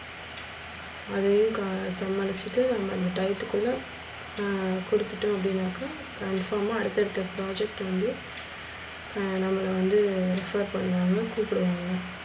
அதே அந்த டைத்துக்குள்ள ஹம் கொடுத்துட்டோ அப்டின்னாக்க இப்போமா அடுத்து அடுத்து project வந்து ஹம் நம்மள வந்து sure பண்ணுவாங்க கூப்டுவாங்க.